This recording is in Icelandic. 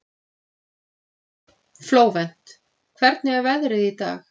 Flóvent, hvernig er veðrið í dag?